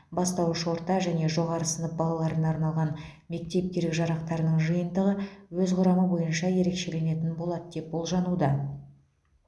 бастауыш орта және жоғары сынып балаларына арналған мектеп керек жарақтарының жиынтығы өз құрамы бойынша ерекшеленетін болады деп болжануда